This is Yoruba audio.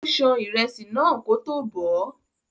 Ó ṣan ìrẹsì náà kótó bọ̀ọ́.